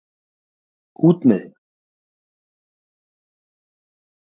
Út með þig.